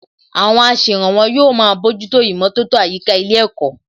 Àwọn aṣèrànwọ́ yóò máa bójútó ìmọ̀tótó àyíká ilé ẹ̀kọ́